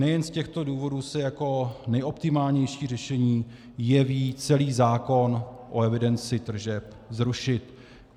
Nejen z těchto důvodů se jako nejoptimálnější řešení jeví celý zákon o evidenci tržeb zrušit.